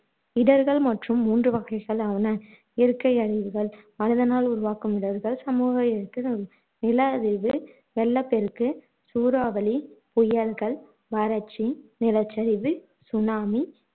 இடர்கள் மற்றும் மூன்று வகைகளாவன இயற்கை அழிவுகள், மனிதனால் உருவாகும் இடர்கள், சமூக இயற்கை இடர்கள். நில அதிர்வு, வெள்ளப்பெருக்கு, சூறாவளி, புயல்கள், வறட்சி, நிலச்சரிவு, சுனாமி